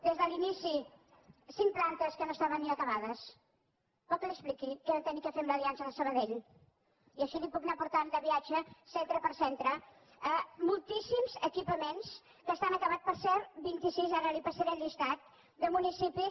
des de l’inici cinc plantes que no estaven ni acabades vol que li expliqui que vam haver de fer amb l’aliança de sabadell i així la puc anar portant de viatge centre per centre a moltíssims equipaments que estan acabats per cert vint i sis ara li passaré el llistat de municipis